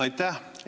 Aitäh!